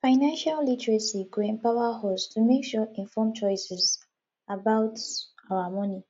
financial literacy go empower us to make make informed choices about our money